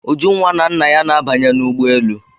Ujunwa na nna ya na-abanye n'ụgbọelu.